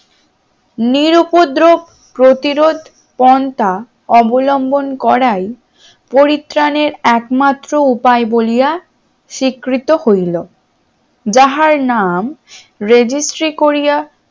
নিরু উপদ্রব প্রতিরোধ পন্থা অবলম্বন করায় পরিত্রাণের একমাত্র উপায় বলিয়া স্বীকৃত হইল যাহার নাম registry করিয়া